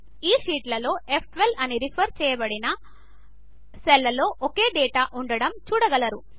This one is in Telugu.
ఈ షీట్లలో ఫ్12 అని సెల్ రెఫర్ చేయబడిన సెల్లో ఒకే డేటా ఉండటము చూడగలము